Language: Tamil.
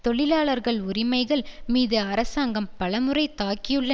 தொழிலாளர் உரிமைகள் மீது அரசாங்கம் பலமுறை தாக்கியுள்ள